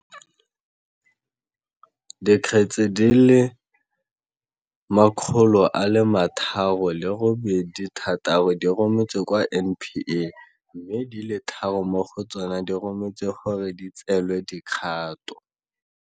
Dikgetse di le 386 di rometswe kwa NPA, mme di le tharo mo go tsona di rometswe gore di tseelwe dikgato.